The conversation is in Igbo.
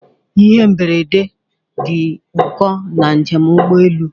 Ihe mberede dị ụkọ na njem ụgbọ elu.